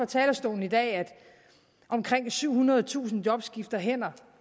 talerstolen i dag at omkring syvhundredetusind job skifter hænder